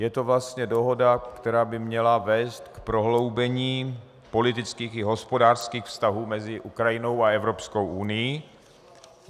Je to vlastně dohoda, která by měla vést k prohloubení politických i hospodářských vztahů mezi Ukrajinou a Evropskou unií.